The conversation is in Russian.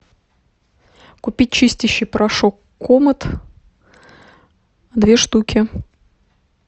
купить чистящий порошок комет две штуки